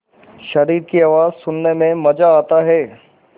शरीर की आवाज़ सुनने में मज़ा आता है